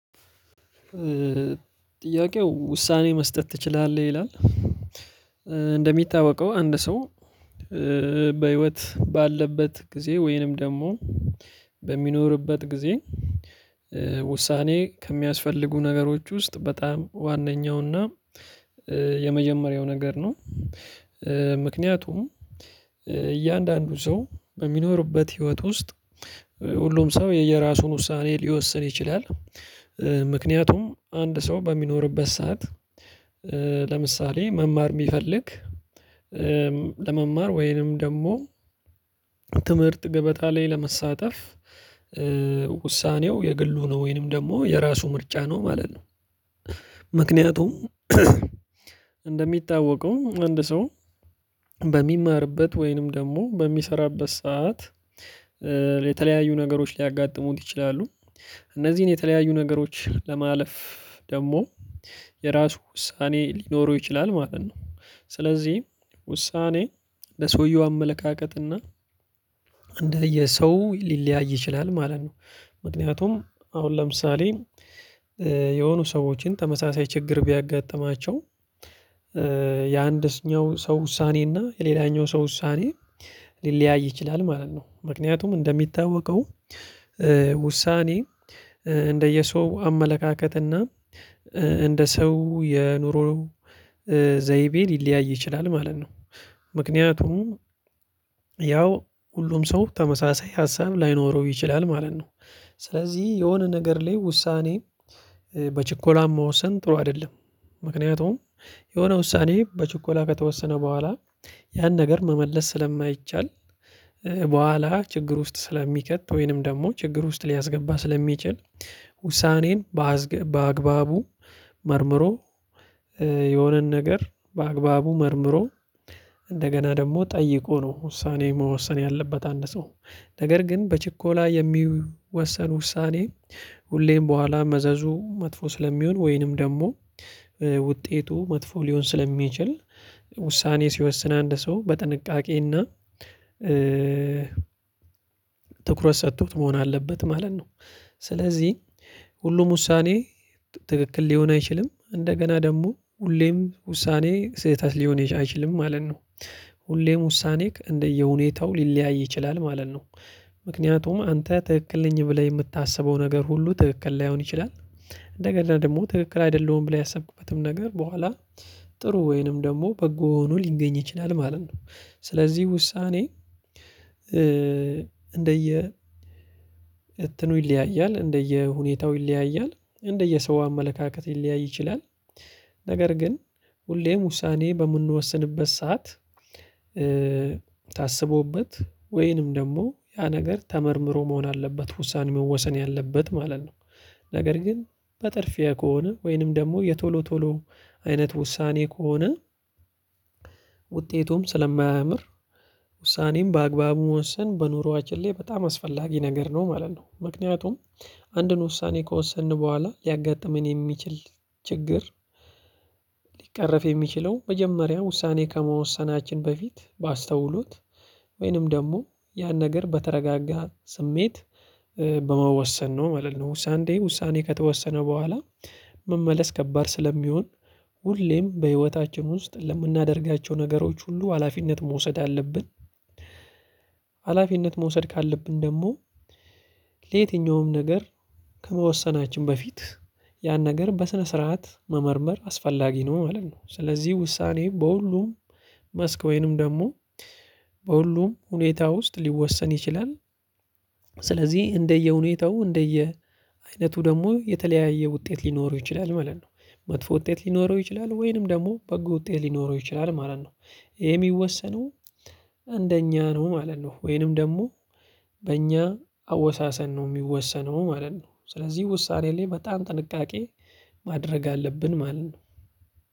ጥያቄው ውሳኔ መስጠት ትችላለህ ይላል? እንደሚታወቀው አንድ ሰው በህይወት ባለበት ጊዜ ወይንም ደግሞ በሚኖርበት ጊዜ ውሳኔ ከሚያስፈልጉ ነገሮች ውስጥ በጣም ዋነኛውና የመጀመሪያው ነገር ነው። ምክንያቱም እያንዳንዱ ሰው በሚኖርበት ህይወት ውስጥ ሁሉም ሰው የየራሱን ውሳኔ ሊወስን ይችላል። ምክንያቱም አንድ ሰው በሚኖርበት ሰዓት ለምሳሌ መማር የሚፈልግ ለመማር ወይንም ደግሞ ትምህርት ገበጣ ላይ ለመሳተፍ ውሳኔው የግሉ ነው ወይንም ደግሞ የራሱ ምርጫ ነው ማለት ነው። ምክንያቱም እንደሚታወቀው አንድ ሰው በሚማርበት ወይንም ደግሞ በሚሰራበት ሰዓት የተለያዩ ነገሮች ሊያጋጥሙን ይችላሉ። እነዚህን የተለያዩ ነገሮች ለማለፍ ደግሞ የራሱ ውሳኔ ሊኖረው ይችላል ማለት ነው። ስለዚህ ውሳኔ ለሰውየው አመለካከትና እንደየሰው ሊለያይ ይችላል ማለት ነው። ምክንያቱም አሁን ለምሳሌ የሆኑ ሰዎችን ተመሳሳይ ችግር ቢያጋጥማቸው የአንደስኛው ሰው ውሳኔ እና የሌላኛው ሰው ውሳኔ ሊለያይ ይችላል ማለት ነው። ምክንያቱም እንደሚታወቀው ውሳኔ እንደየሰው አመለካከትና እንደ ሰው የኑሮ ዘይቤን ይለያይ ይችላል ማለት ነው። ምክንያቱም ያው ሁሉም ሰው ተመሳሳይ ሀሳብ ላይኖረው ይችላል ማለት ነው። ስለዚህ የሆነ ነገር ላይ ውሳኔ በችኮላ መወሰን ጥሩ አይደለም። ምክንያቱም የሆነ ውሳኔ በችኮላ ከተወሰነ በኋላ ያን ነገር መመለስ ስለማይቻል በኋላ ችግር ውስጥ ስለሚከት ወይንም ደግሞ ችግር ውስጥ ሊያስገባ ስለሚችል። ውሳኔን በአዝገ በአግባቡ መርምሮ የሆነን ነገር በአግባቡ መርምሮ እንደገና ደግሞ ጠይቆ ነው ውሳኔ መወሰን ያለበት አንድ ሰው። ነገር ግን በችኮላ የሚወሰን ውሳኔ ሁሌም በኋላ መዘዙ መጥፎ ስለሚሆን ወይንም ደግሞ ውጤቱ መጥፎ ሊሆን ስለሚችል ውሳኔ ሲወስን አንድ ሰው በጥንቃቄና ትኩረት ሰጥቶት መሆን አለበት ማለት ነው። ስለዚህ ሁሉም ውሳኔ ትክክል ሊሆን አይችልም እንደገና ደግሞ ሁሌም ውሳኔ ስህተት ሊሆን አይችልም ማለት ነው። ሁሌም ውሳኔክ እንደየሁኔታው ሊለያይ ይችላል ማለት ነው። ምክንያቱም አንተ ትክክል ነኝ ብለህ የምታስበው ነገር ሁሉ ትክክል ላይሆን ይችላል። እንደገና ደግሞ ትክክል አይደለሁም ብለህ ያሰብክበትም ነገር በኋላ ጥሩ ወይንም ደግሞ በጎ ሆኖ ሊገኝ ይችላል ማለት ነው። ስለዚህ ውሳኔ እንደየ እትኑ ይለያያል እንደየ ሁኔታው ይለያያል እንደየ ሰው አመለካከት ሊለያይ ይችላል። ነገር ግን ሁሌም ውሳኔ በምንወስንበት ሰዓት ታስቦበት ወይንም ደግሞ ያ ነገር ተመርምሮ መሆን አለበት ውሳኔ መወሰን ያለበት ማለት ነው። ነገር ግን በጥርፍያ ከሆነ ወይንም ደግሞ የቶሎ ቶሎ አይነት ውሳኔ ከሆነ ውጤቱም ስለማያምር ውሳኔን በአግባቡ መወሰን በኑሮአችን ላይ በጣም አስፈላጊ ነገር ነው ማለት ነው። ምክንያቱም አንድን ውሳኔ ከወሰንን በኋላ ሊያጋጥመን የሚችል ችግር ሊቀረፍ የሚችለው መጀመሪያ ውሳኔ ከመወሰናችን በፊት ባስተውሉት ወይንም ደግሞ ያን ነገር በተረጋጋ ስሜት በመወሰን ነው ማለት ነው። ሳንዴ ውሳኔ ከተወሰነ በኋላ መመለስ ከባድ ስለሚሆን ሁሌም በህይወታችን ውስጥ ለምናደርጋቸው ነገሮች ሁሉ ሀላፊነት መውሰድ አለብን። ሀላፊነት መውሰድ ካለብን ደግሞ ለየትኛውም ነገር ከመወሰናችን በፊት ያን ነገር በስነ ስርዓት መመርመር አስፈላጊ ነው ማለት ነው። ስለዚህ ውሳኔ በሁሉም መስክ ወይንም ደግሞ በሁሉም ሁኔታ ውስጥ ሊወሰን ይችላል። ስለዚህ እንደየሁኔታው እንደየ አይነቱ ደግሞ የተለያየ ውጤት ሊኖረው ይችላል ማለት ነው። መጥፎ ውጤት ሊኖረው ይችላል ወይንም ደግሞ በጎ ውጤት ሊኖረው ይችላል ማለት ነው። ይሄ የሚወሰነው እንደኛ ነው ማለት ነው ወይንም ደግሞ በእኛ አወሳሰን ነው የሚወሰነው ማለት ነው። ስለዚህ ውሳኔ ላይ በጣም ጥንቃቄ ማድረግ አለብን ማለት ነው።